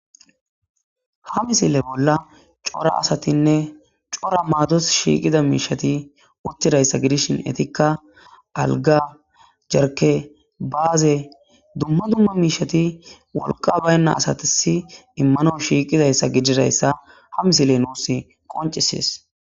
ha misile bolla cora asatinne cora maados shiiqida miishati uttidayssa gidishin etikka alga jerke baaze dumma dumma miishati wolqa baynna asatisi immano shiiqidayssa gididayssa ha misile nuusi qoncisees